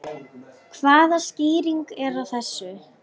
Hvaða skýring er á þessu?